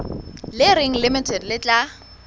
le reng limited le tla